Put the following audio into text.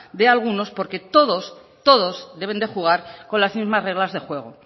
de algunos porque todos todos deben de jugar con las mismas reglas de juego